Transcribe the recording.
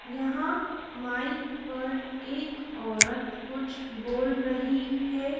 यहां माइक पर एक औरत कुछ बोल रही है।